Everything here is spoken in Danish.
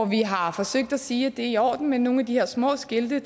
vi har forsøgt at sige at det er i orden med nogle af de her små skilte